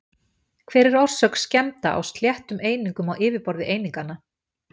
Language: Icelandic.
Hver er orsök skemmda á sléttum einingum á yfirborði eininganna?